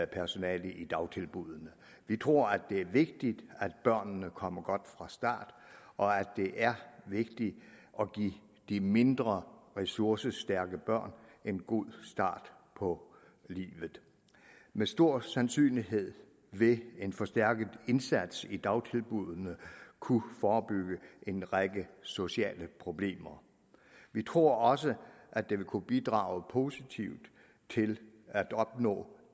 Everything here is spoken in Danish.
personale i dagtilbuddene vi tror det er vigtigt at børnene kommer godt fra start og at det er vigtigt at give de mindre ressourcestærke børn en god start på livet med stor sandsynlighed vil en forstærket indsats i dagtilbuddene kunne forebygge en række sociale problemer vi tror også at det vil kunne bidrage positivt til at opnå